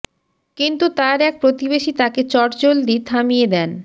কিন্তু তাঁর এক প্রতিবেশী তাঁকে চটজলদি থামিয়ে দেন